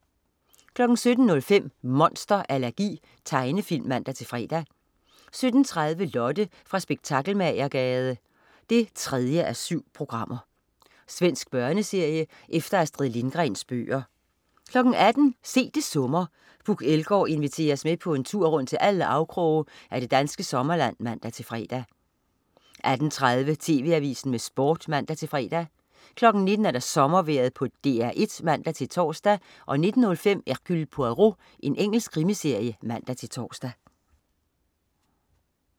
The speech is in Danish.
17.05 Monster allergi. Tegnefilm (man-fre) 17.30 Lotte fra Spektakelmagergade 3:7. Svensk børneserie efter Astrid Lindgrens bøger 18.00 Se det summer. Puk Elgaard inviterer os med på en tur rundt til alle afkroge af det danske sommerland (man-fre) 18.30 TV Avisen med Sport (man-fre) 19.00 Sommervejret på DR1 (man-tors) 19.05 Hercule Poirot. Engelsk krimiserie (man-tors)